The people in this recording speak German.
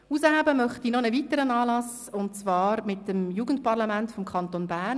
Hervorheben möchte ich noch einen weiteren Anlass, und zwar einen Anlass des Jugendparlaments des Kantons Bern.